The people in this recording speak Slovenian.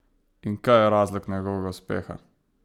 In kaj je razlog njegovega uspeha?